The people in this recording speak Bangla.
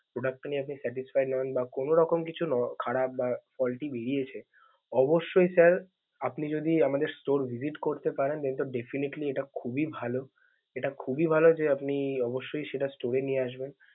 product টা নিয়ে আপনি satisfy নন, বা কোনো রকম কিছু ন~ খারাপ বা faulty বেরিয়েছে অবশ্যই sir আপনি যদি আমাদের store করতে পারেন তো definitely এটা খুবই ভালো। এটা খুবই ভালো যে আপনি অবশ্যই সেটা store এ নিয়ে আসবেন।